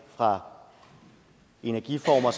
fra energiformer